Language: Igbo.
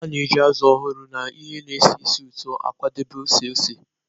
A na-eji azụ ọhụrụ na ihe na-esi ísì ụtọ akwadebe ose ose.